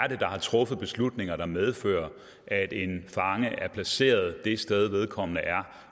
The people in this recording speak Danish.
er der har truffet beslutninger der medfører at en fange er placeret det sted vedkommende er